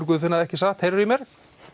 Guðfinna ekki satt heyrirðu í mér